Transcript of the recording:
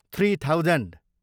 three thousand